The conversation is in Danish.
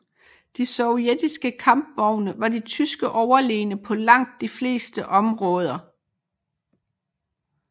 De sovjetiske kampvogne var de tyske overlegne på langt de fleste områder